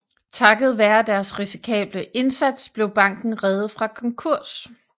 Takket være deres risikable indsats blev banken reddet fra konkurs